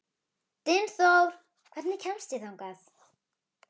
Dynþór, hvernig kemst ég þangað?